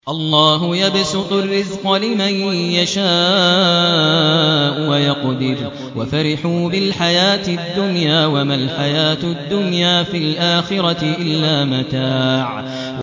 اللَّهُ يَبْسُطُ الرِّزْقَ لِمَن يَشَاءُ وَيَقْدِرُ ۚ وَفَرِحُوا بِالْحَيَاةِ الدُّنْيَا وَمَا الْحَيَاةُ الدُّنْيَا فِي الْآخِرَةِ إِلَّا مَتَاعٌ